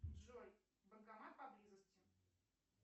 джой банкомат поблизости